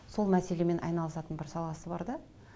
сол мәселемен айналысатын бір саласы бар да